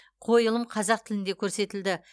қойылым қазақ тілінде көрсетілді